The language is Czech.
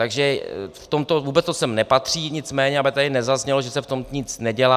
Takže v tomto - vůbec to sem nepatří, nicméně aby tady nezaznělo, že se v tom nic nedělá.